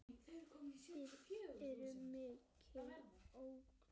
Það er mikil ógn.